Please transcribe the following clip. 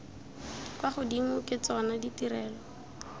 kwa godimo ke tsona ditirelo